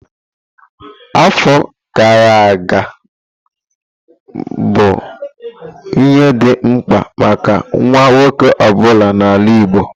Afọ gara aga, mmalite bụ ihe dị mkpa maka nwa nwoke ọ bụla n'ala Igbo.